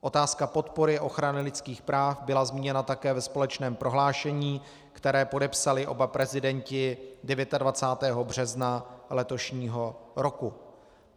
Otázka podpory ochrany lidských práv byla zmíněna také ve společném prohlášení, které podepsali oba prezidenti 29. března letošního roku.